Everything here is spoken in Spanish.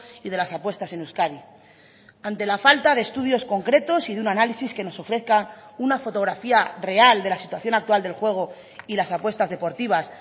y de las apuestas en euskadi ante la falta de estudios concretos y de un análisis que nos ofrezca una fotografía real de la situación actual del juego y las apuestas deportivas